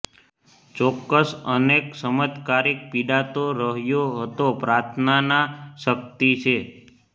ચોક્કસ અનેક ચમત્કારિક પીડાતો રહ્યો હતો પ્રાર્થનાના શક્તિ છે